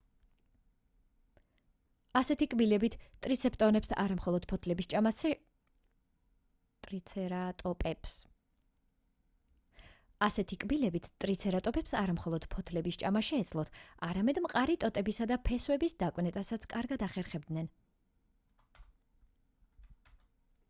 ასეთი კბილებით ტრიცერატოპებს არა მხოლოდ ფოთლების ჭამა შეეძლოთ არამედ მყარი ტოტებისა და ფესვების დაკვნეტასაც კარგად ახერხებდნენ